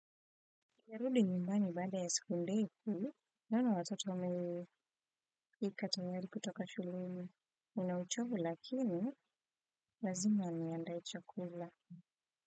Sijarudi nyumbani baada ya siku ndefu naona watoto wamefika tayari kutoka shuleni nina uchovu lakini lazima niandae chakula.